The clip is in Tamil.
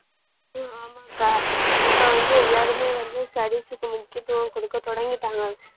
ஹம் ஆமாகா இப்ப வந்து எல்லாருமே வந்து studies க்கு முக்கியத்துவம் குடுக்க தொடங்கிட்டாங்க